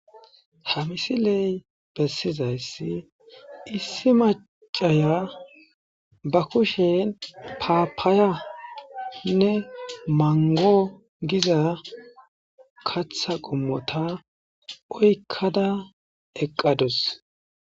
Ha misilee bessiza issi issi maccara bakushen paappaya nne manggo giza kaththa qommota oykkada eqqa dawus.